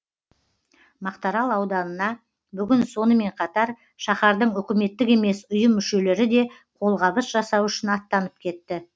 мақтарал ауданына бүгін сонымен қатар шаһардың үкіметтік емес ұйым мүшелері де қолғабыс жасау үшін аттанып кетті